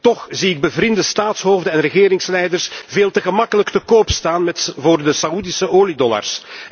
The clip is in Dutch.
Toch zie ik bevriende staatshoofden en regeringsleiders veel te gemakkelijk te koop staan voor de Saoedische oliedollars.